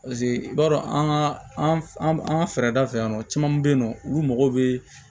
paseke i b'a dɔn an ka an an ka fɛɛrɛ da fɛ yan nɔ caman be yen nɔ olu mago bee